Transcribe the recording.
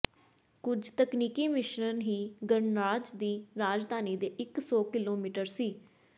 ਕੁਝ ਤਕਨੀਕੀ ਮਿਸ਼ਰਣ ਹੀ ਗਣਰਾਜ ਦੀ ਰਾਜਧਾਨੀ ਦੇ ਇਕ ਸੌ ਕਿਲੋਮੀਟਰ ਸੀ